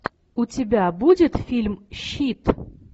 у тебя будет фильм щит